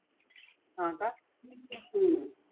हा का